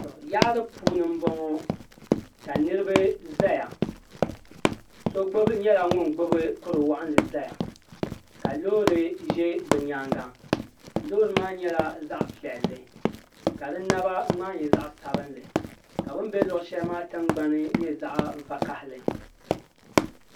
yari puuni n bɔŋɔ ka niriba ʒɛya so gba nyɛla ŋɔ gbabi kuri waɣilinli zaya ka lori ʒɛ bi nyɛŋa lori maa nyɛla zaɣ' piɛli ka di naba gbai nyɛ zaɣ' sabila ka bɛn bɛ shɛli maa nyɛ zaɣ' vakahili